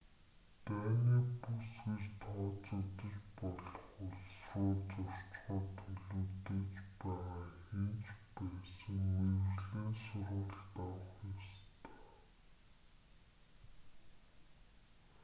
дайны бүс гэж тооцогдож болох улс руу зорчихоор төлөвлөж байгаа хэн ч байсан мэргэжлийн сургалт авах ёстой